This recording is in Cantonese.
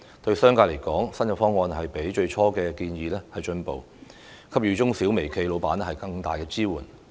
對商界來說，新方案亦比最初的建議有改善，給予中小微企老闆更大支援。